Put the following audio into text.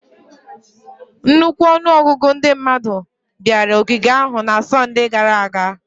Nnukwu ọnụ ọgụgụ ndị mmadụ bịara ogige ahụ na Sọnde gara aga